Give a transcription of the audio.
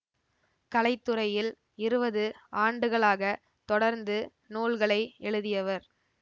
கலைத்துறையில் இருவது ஆண்டுகளாக தொடர்ந்து நூல்களை எழுதியவர்